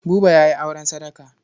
Buba ya yi auren sadaka.